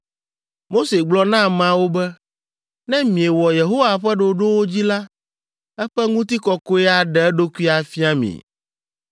Mose gblɔ na ameawo be, “Ne miewɔ Yehowa ƒe ɖoɖowo dzi la, eƒe ŋutikɔkɔe aɖe eɖokui afia mi.”